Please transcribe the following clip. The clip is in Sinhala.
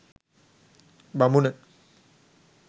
බමුණ,